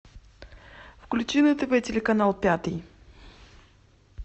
включи на тв телеканал пятый